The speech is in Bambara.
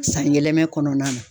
San yɛlɛma kɔnɔna na.